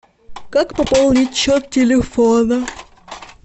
как пополнить счет телефона